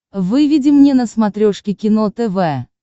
выведи мне на смотрешке кино тв